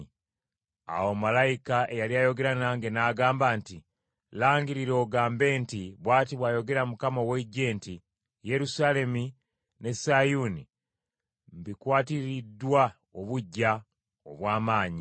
Awo malayika eyali ayogera nange n’agamba nti, “Langirira ogambe nti, Bw’ati bw’ayogera Mukama ow’Eggye nti, ‘Yerusaalemi ne Sayuuni mbikwatiririddwa obuggya obw’amaanyi,